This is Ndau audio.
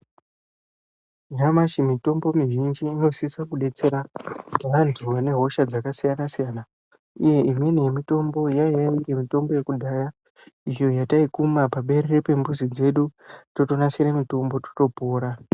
Nyamashi mitombo mizhinji inosisa kudetsera vantu vane hosha dzakasiyana-siyana, uye imweni yemitombo yaiya mitombo yekudhaya izvo zvataikuma paberere pembuzi dzedu totonasira mutombo totopora.